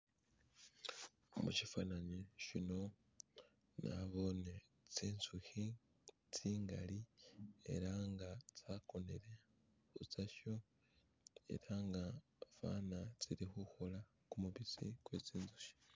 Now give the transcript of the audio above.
mushifananyi shino nabone tsintsuhi tsingali ela nga tsakonele ni tsasho elanga fana tsili huhola kumubisi kwetsinzoshi